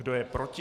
Kdo je proti?